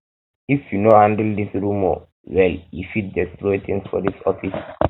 if you no handle dis rumor well e fit destroy tins for dis office